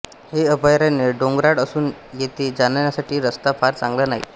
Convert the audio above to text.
हे अभयारण्य डोंगराळ असून येथे जाण्यासाठी रस्ता फार चांगला नाही